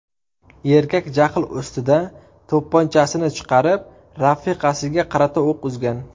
Erkak jahl ustida to‘pponchasini chiqarib, rafiqasiga qarata o‘q uzgan.